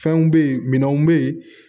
Fɛnw bɛ ye minɛnw bɛ yen